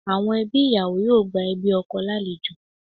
Àwọn ẹbí ìyàwó yóò gba ẹbí ọkọ lálejò